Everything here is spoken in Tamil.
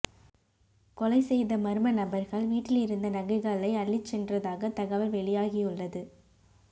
கொலை செய்த மர்ம நபர்கள் விட்டில் இருந்த நகைகளை அள்ளிச் சென்றதாக தகவல் வெளியாகியுள்ளது